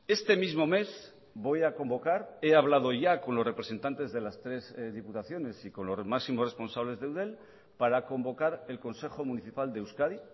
este mismo mes voy a convocar he hablado ya con los representantes de las tres diputaciones y con los máximos responsables de eudel para convocar el consejo municipal de euskadi